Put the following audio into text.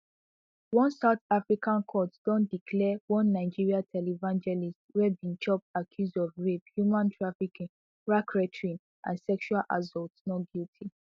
one south african court don declare one nigerian televangelist wey bin chop accuse of rape human trafficking racketeering and sexual assault not guilty